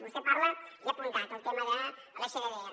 vostè parla he apuntat del tema de l’sddr